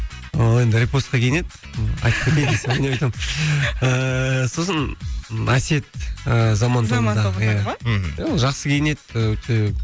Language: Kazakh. ол енді репостқа киінеді ойнап айтамын ыыы сосын әсет ы заман тобындағы иә мхм ол жақсы кинеді өте